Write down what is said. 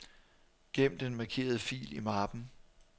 Gem den markerede fil i mappen.